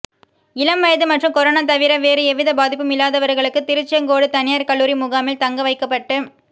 இளம் வயது மற்றும் கொரோனா தவிர வேறு எவ்வித பாதிப்பும் இல்லாதவர்களுக்கு திருச்செங்கோடு தனியார் கல்லூரி முகாமில் தங்க வைக்கப்பட்டு